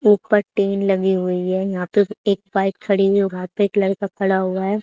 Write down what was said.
ऊपर टिन लगी हुई है यहां पे एक बाइक खड़ी हुई और यहां पे एक लड़का खड़ा हुआ हैं।